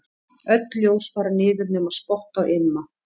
Öll ljós fara niður nema spott á Imma.